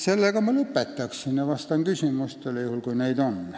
Sellega ma lõpetan ja vastan küsimustele, juhul kui neid on.